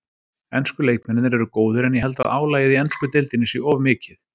Ensku leikmennirnir eru góðir en ég held að álagið í ensku deildinni sé of mikið.